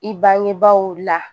I bangebaaw la